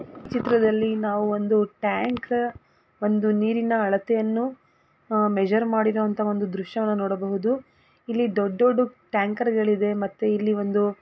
ಈ ಚಿತ್ರದಲ್ಲಿ ನಾವು ಒಂದು ಟ್ಯಾಂಕ್ ಒಂದು ನೀರಿನ ಅಳತೆಯನ್ನು ಮೆಜರ್ ಮಾಡಿರುವ ಅಂತ ದೃಶ್ಯವನ್ನು ಕೊಡಬಹುದು ಇಲ್ಲಿ ದೊಡ್ಡ ದೊಡ್ಡ ಟ್ಯಾಂಕರ್ ಗಳು ಇದೇ ಮತ್ತು ಇಲ್ಲಿ--